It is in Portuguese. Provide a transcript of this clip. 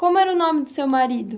Como era o nome do seu marido?